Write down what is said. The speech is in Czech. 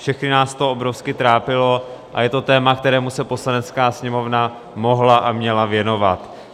Všechny nás to obrovsky trápilo a je to téma, kterému se Poslanecká sněmovna mohla a měla věnovat.